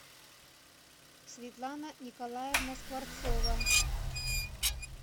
светлана николаевна скворцова